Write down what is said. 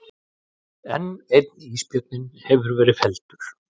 Enn einn ísbjörninn hefur verið felldur